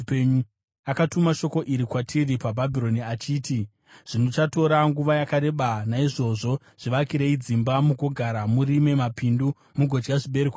Akatuma shoko iri kwatiri paBhabhironi, achiti: Zvichatora nguva yakareba. Naizvozvo zvivakirei dzimba mugogara; murime mapindu mugodya zvibereko zvawo.’ ”